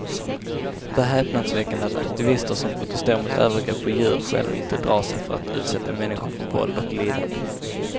Det är häpnadsväckande att aktivister som protesterar mot övergrepp på djur själva inte drar sig för att utsätta människor för våld och lidande.